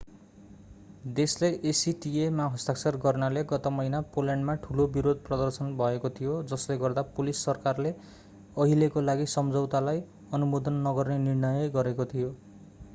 देशले acta मा हस्ताक्षर गर्नाले गत महिना पोल्यान्डमा ठूलो विरोध प्रदर्शन भएको थियो जसले गर्दा पोलिस सरकारले अहिलेका लागि सम्झौतालाई अनुमोदन नगर्ने निर्णय गरेको थियो